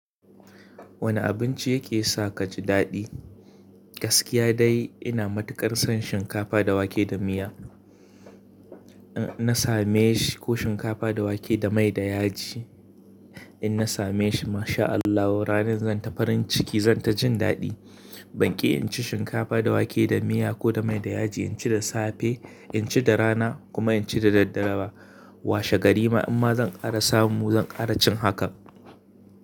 Wane abinci yake sa kaji daɗi? Gaskiya dai ina matuƙar son shinkafa da wake da miya. In na same shi ko shinkafa da wake da mai da yaji in na same shi, masha Allah ranar zan ta farin ciki zan ta jin daɗi. Ban ƙi in ci shinkafa da wake da miya ko da mai da yaji, in ci da safe, in ci da rana kuma in ci da daddare. Washe gari ma in ma zan ƙara samu zan ƙara cin hakan.